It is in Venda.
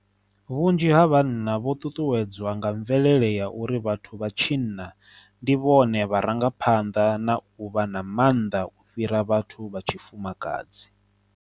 Vhunzhi ha vhanna vho ṱuṱuwedzwa nga mvelele ya uri vhathu vha tshinna ndi vhone vharangaphanḓa na u vha na maanḓa u fhira vhathu vha tshi fumakadzi.